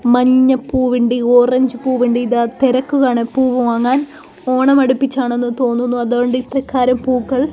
മഞ്ഞപ്പൂവിണ്ട് orange പൂവിണ്ട് ദാ തിരക്ക് കാണാം പൂവ് വാങ്ങാൻ ഓണം അടിപ്പിച്ച് ആണെന്ന് തോന്നുന്നു അതുകൊണ്ട് ഇത്രക്കാരം പൂക്കൾ--